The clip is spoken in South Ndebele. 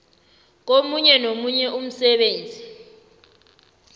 komunye nomunye umsebenzi